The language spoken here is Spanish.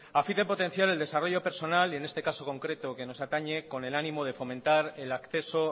a fin de potenciar el desarrollo personal y en este caso concreto que nos atañe con el ánimo de fomentar el acceso